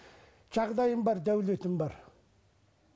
жағдайым бар дәулетім бар